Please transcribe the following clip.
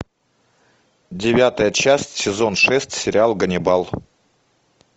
девятая часть сезон шесть сериал ганнибал